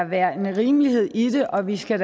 være en rimelighed i det og vi skal